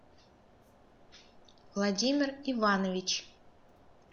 владимир иванович